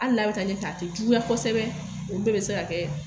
Hali n'a bɛ taa ɲɛfɛ a ta tɛ juguya kosɛbɛ olu bɛɛ bɛ se ka kɛ